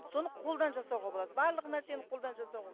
соны қолдан жасауға болады барлық нәрсені қолдан жасауға болады